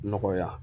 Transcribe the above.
Nɔgɔya